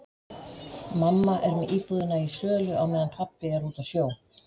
Mamma er með íbúðina í sölu á meðan pabbi er úti á sjó.